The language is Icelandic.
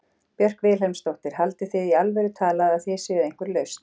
Björk Vilhelmsdóttir: Haldið þið í alvöru talað að þið séuð einhver lausn?